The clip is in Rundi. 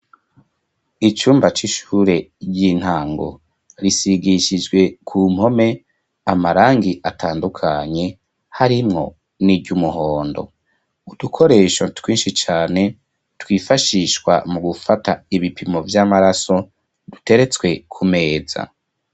icumba c'ishure ry'intango risigishijwe ku mpome amarangi atandukanye harimwo n'iry'umuhondo udukoresho twinshi cane twifashishwa mu gufata ibipimo vy'amaraso duteretswe ku meza